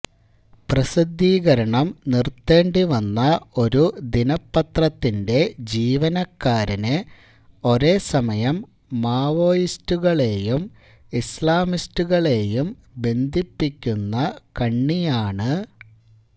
പ്രസിദ്ധീകരണം നിര്ത്തേണ്ടിവന്ന ഒരു ദിനപത്രത്തിന്റെ ജീവനക്കാരന് ഒരേ സമയം മാവോയിസ്റ്റുകളെയും ഇസ്ലാമിസ്റ്റുകളെയും ബന്ധിപ്പിക്കുന്ന കണ്ണിയാണ്